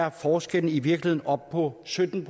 at forskellen i virkeligheden er oppe på sytten